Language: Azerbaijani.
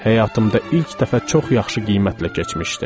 Həyatımda ilk dəfə çox yaxşı qiymətlə keçmişdim.